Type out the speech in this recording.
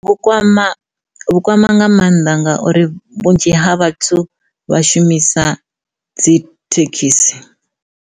Vhu kwama, vhu kwama nga mannḓa ngauri vhunzhi ha vhathu vha shumisa dzi thekhisi.